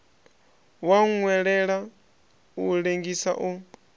wa nwelela u lengisa u